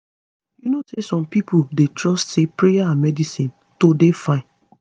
you know say some pipo dey trust say prayer and medicine to dey fine